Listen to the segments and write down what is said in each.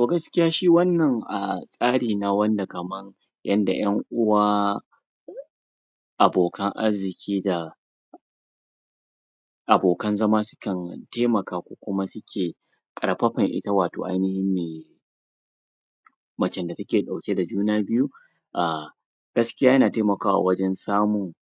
A gaskiya shi wannan a tsari na wanda kaman yanda 'yan uwa abokan arziƙi da abokan zama sukan taimaka ko kuma suke ƙarfafar ita wato ainahin macen da take ɗauke da juna a gaskiya yana taimakawa wajen samun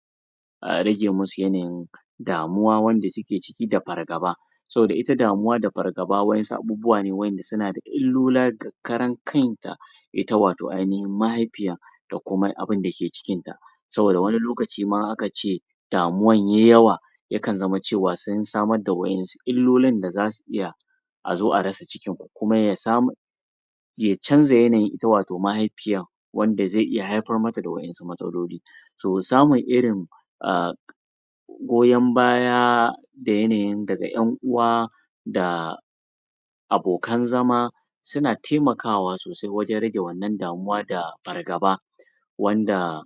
rage masu yawan damuwa wanda suke ciki da fargaba saboda ita damuwa da fargaba waɗansu abubuwa wanda suna da illola karan kanta ita wato ainahin mahaifiya da kuma abinda ke cikinta saboda wani lokaci ma aka ce damuwa yayi yawa yakan zama cewa sun samar da wa'yensu illoli da za su iya a zo a rasa cikin kuma ya samu ya canja yanayin ita wato mahaifiyar wanda zai iya haifar mata da wa'yensu matsaloli to samun irin a goyan baya da yanayin daga 'yan uwa da abokan zama suna taimakawa sosai wajen rage wannan damuwa da fargaba wanda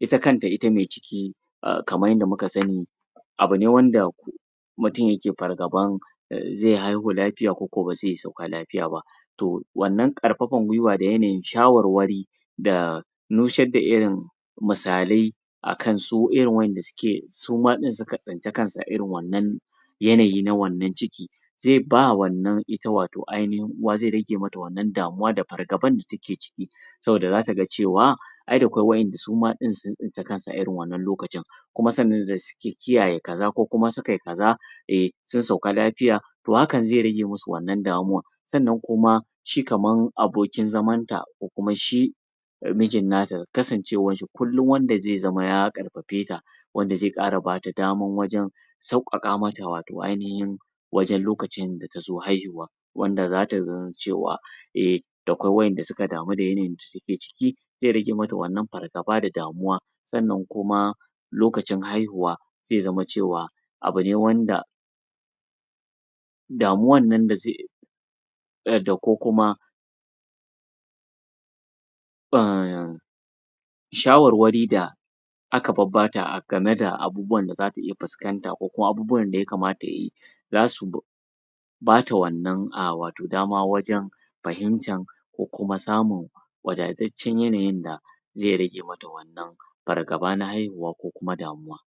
ita kanta ita me ciki kamar yadda muka sani abu ne wanda mutum yake fargabar zai haihu lafiya koko ba zai sauka lafiya ba to wannan ƙarfafar guiwa da yanayin shawarwari da nusar da irin misalai akan su irin wanda suke suma din suka tsinci kansu a irin wannan yanayi na wannan ciki sai ba wannan ita wato ainahin uwa zai rage mata wannan damuwa da fargaban take ciki saboda za ta ga cewa ai da akwai wanɗanda suma ɗin sun tsinci kansu a irin wanann lokacin kuma sannan suke kiyaye kaza ko kuma sukai kaza sun sauka lafiya to hakan zai rage masu wannan damuwar sannan kuma shi kaman abokin zamanta ko kuma shi mijin nata kasancewarsa shi kullum wanda zai zama ya ƙarfafeta wanda zai ƙara bata dama wajen sauƙaƙa mata wato ainashin wajen lokacin da ta zo haihuwa wanda za ta zamo cewa e da akwai wanda suke damu da take ciki zai rage mata wannan fargaba da damuwa sannan kuma lokacin haihuwa zai zaman cewa abu ne wanda damuwar nan da zai ko kuma? shawarwari da aka babbata game da abubuwan da zata fuskanta ko abubuwan da ya kamata za su bu bata wannan a wato dama wajen fahimtar ko kuma samun wadataccen yanayin da zai rage mata wannanɓ fargaba na haihuwa ko kuma damuwa